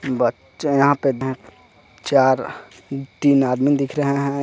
बच्चे यहां पे हैं चार तीन आदमी दिख रहे हैं यहां--